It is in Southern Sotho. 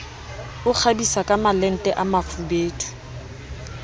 o kgabisa kamalente a mafubedu